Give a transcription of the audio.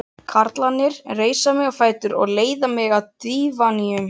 Karlarnir reisa mig á fætur og leiða að dívaninum.